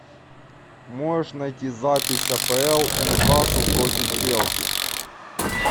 можешь найти запись апл ньюкасл против челси